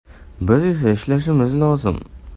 Biz esa ishlashimiz lozim.